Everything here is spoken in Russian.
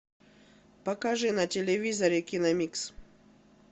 покажи на телевизоре киномикс